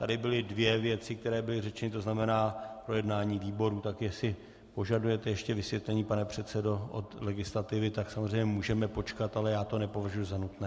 Tady byly dvě věci, které byly řečeny, to znamená projednání výborů, tak jestli požadujete ještě vysvětlení, pane předsedo, od legislativy, tak samozřejmě můžeme počkat, ale já to nepovažuji za nutné.